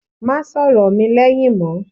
Má sọ̀rọ̀ mi lẹ́yìn mọ́!